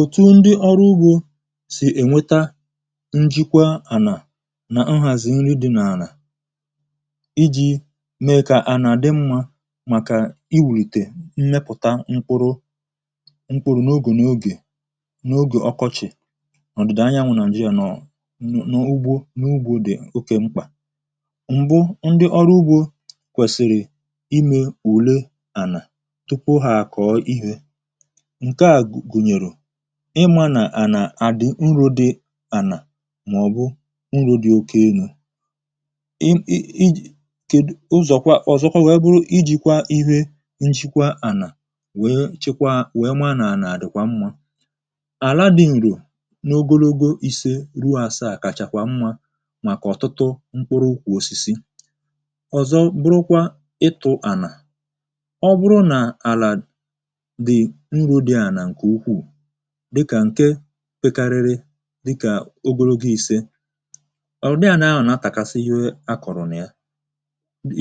òtù ndị ọrụ ugbȯ sì ènweta njịkwa ànà nà ụhàzị̀ nri dị̇ n’àlà iji̇ mee kà ànà àdị mmȧ màkà iwùrìtè mmepùta mkpụrụ mkpụrụ n’ogè n’ogè n’ogè ọkọchị̀ ọ̀ dị̀ dànya nwụ̀nà jiri ànọ̀ n’ugbo n’ugbȯ dị̀ oke mkpà m̀bụ ndị ọrụ ugbȯ kwèsìrì imė ùle ànà tupu ha àkọ̀ọ ihe ịmȧ nà ànà àdị̀ nrù di ànà màọ̀bụ nrù di okėnù i i ij jòkwaa ọ̀zọkwa wèe bụrụ ijìkwa ihe njikwa ànà wèe chikwa wèe maà àdị̀kwa mmȧ àla di ǹrò n’ogologo ise ruo àsa àkàchàkwa mmȧ màkà ọ̀tụtụ mkporo ukwu̇ osisi ọ̀zọ bụrụkwa ịtụ̇ ànà dịkà ǹke pekarịrị dịkà ogologo ìse ọ̀dịa nà-ahụ̀ nà-atàkasi iwe akọ̀rọ̀ nà ya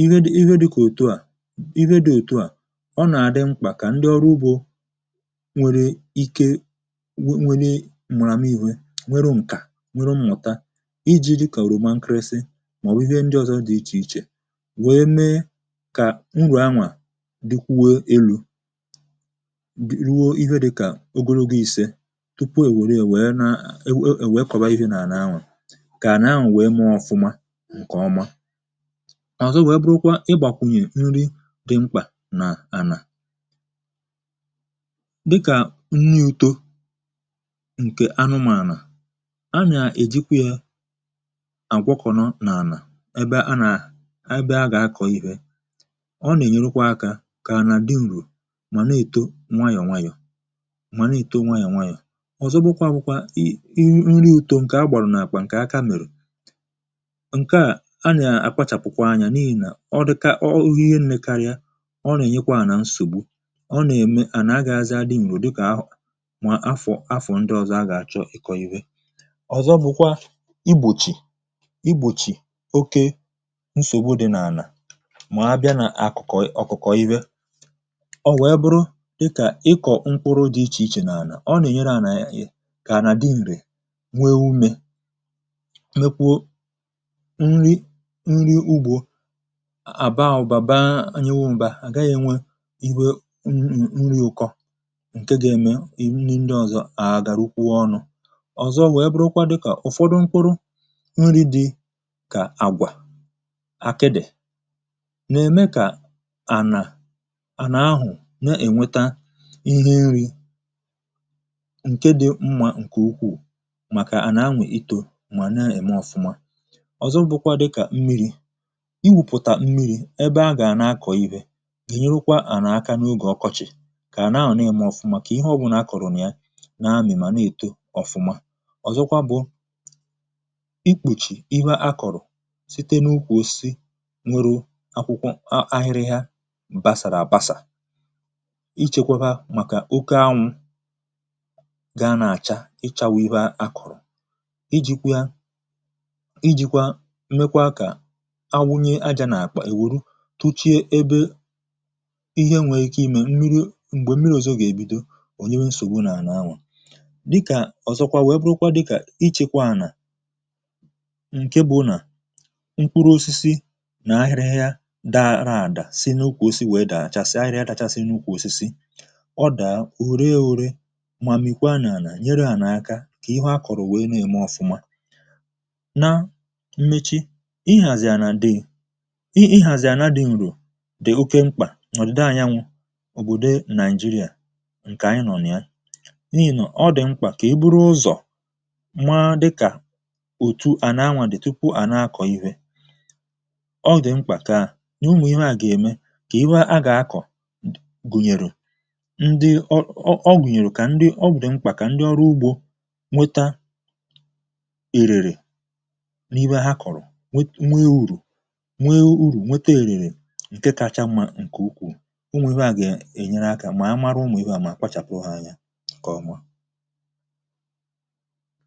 ihe dị kà òtù a ihe dị òtù a ọ nà-àdị mkpà kà ndị ọrụ ugbȯ nwere ike nwere m̀ràm ihė nwere ǹkà nwere mmụ̀ta iji̇ dịkàrụ̀ roma nkịrịsị màọbụ̀ ihe ndị ọzọ dị ichè ichè wee mee kà nrọ̀ anwà dịkwuwe elu̇ tupu è wère è wère naa è wère kọ̀ba ihė nà àna ànwà kà àna ànwà wèe mụọ ọfụma ǹkè ọma àzọ wèe bụrụkwa ịgbàkwùnyè nri dị mkpà nà ànà dịkà nni utȯ ǹkè anụmànà a nà èjikwa yȧ àgwọkọ̀nọ nà ànà ebe a nà ebe a gà akọ̀ ihė ọ nà ènyerụkwa akȧ kà ànà dị ǹrù mà na èto nwayọ̀ nwayọ̀ ọ̀zọ bụ kwa bụkwa i nri ùtò ǹkè a gbàrụ̀rụ̀ nà àkwà ǹkè a kamèrè ǹke a a nà-àkpachàpụkwa anyȧ n’ihì nà ọ dịkȧ ihe nletarịa ọ nà-ènyekwa ànà nsògbu ọ nà-ème ànà agà azị adị nyò dịkà ahụ̀ nwà afọ afọ̀ ndị ọzọ a gà-àchọ ị̀kọ ihe ọ̀zọ bụ kwa igbòchì igbòchì oke nsògbu dị n’ànà mà abịa nà akụ̀kọ ọkụkọ ihe ọ wèe bụrụ dịkà ịkọ̀ mkpụrụ kà à nà dị ǹrì nwe umė mekwu̇ nri nri ugbȯ àbaàbàba anyanwụ̇ m̀be à à gaghị̇ nwe iwe n..nri ụkọ ǹke gȧ-eme i nri ndị ọzọ à gà-àgàrụkwu ọnụ̇ ọ̀zọ wee bụrụkwa dịkà ụ̀fọdụ mkpụrụ nri dị kà àgwà akịdị̀ nà-ème kà ànà ànà ahụ̀ na-ènweta ǹke dị̇ mmȧ ǹke ukwu̇ù màkà ànà anwụ̀ itȯ mà na-ème ọ̀fụma ọ̀zọ bụkwa dịkà mmiri̇ i wùpụ̀tà mmiri̇ ebe a gà na-akọ̀ ibė gènyerụkwa ànà aka n’ogè ọkọchị̀ kà àna-ahọ̀ na-ème ọ̀fụma kà ihe ọbụ̀ na-akọ̀rọ̀ nà ya na-amị̀ mà na-èto ọ̀fụma ọ̀zọkwa bụ̀ ikpòchì ihe a kọ̀rọ̀ site n’ukwù osisi nwere akwụkwọ ahịrịhịa bàsàrà àbasà ichėkwȧ bà màkà oke anwụ̇ ga nà-àcha ịchȧ wụ̀ ihe a kụ̀rụ̀ ijìkwa ya ijìkwa mmekwa kà anwụnye ajȧ n’àkpà èwòru tuchie ebe ihe nwèrè ike imè mmiri̇ m̀gbè mmiri̇ òzò gà-èbido òliwe nsògbu n’ànà anwụ̀ dịkà ọ̀zọkwa wèe bụrụkwa dịkà ichėkwȧànà ǹke bụ̀ nà mkpụrụ osisi nà ahịrịha daa raàdà si n’ụkwù osisi wèe dàa àchàsị ahịrịha dàchàsị n’ụkwù osisi ọ dàa na ihe akọ̀rọ̀ wèe nà-eme ofụmà na mmechi ihàzì ànà dị̀ ihàzì ànà dị̀ ǹrò dị̀ oke mkpà n’ọ̀dịde ànyanwụ̇ òbòdo nàịjịrịà ǹkè anyị nọ n’ayị n’ihì nọ̀ ọ dị̀ mkpà kà e buru ụzọ̀ ma dịkà òtù à na-anwụ̇ dị̀ tupu àna-akọ̀ ihė ọ gà mkpà ka à n’ụmụ̀ ihe à gà-ème kà ihe a gà-akọ̀ gụ̀nyèrụ̇ nwẹ̀tȧ ẹ̀rẹ̀rẹ̀ n’ihe ha kọ̀rọ̀ nwe nwẹ urù nwẹ urù, nwẹtẹ ẹ̀rẹ̀rẹ̀ ǹkẹ kacha mà ǹkẹ ukwù ụmụ̀ ɪ́bẹ̇ à gà-ènyere akȧ mà ha mara ụmụ̀ ịwẹ̇ à mà kpachàpụ hȧ anya ǹkẹ ọnwa